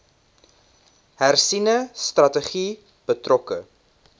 hersiene strategie betrokke